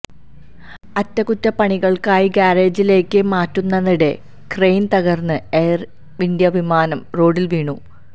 അറ്റകുറ്റപണികൾക്കായി ഗാരേജിലേയ്ക്കു മാറ്റുന്നതിനിടെ ക്രെയിൻ തകർന്ന് എയർ ഇന്ത്യ വിമാനം റോഡിൽ വീണു